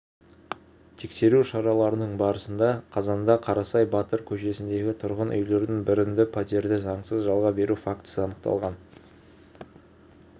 тексеру шараларының барысында қазанда қарасай батыр көшесіндегі тұрғын үйлердің бірінде пәтерді заңсыз жалға беру фактісі анықталған